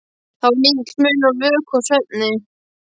Það var lítill munur á vöku og svefni.